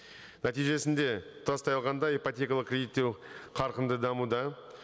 нәтижесінде тұтастай алғанда ипотекалық кредиттеу қарқынды дамуда